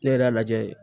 Ne yɛrɛ y'a lajɛ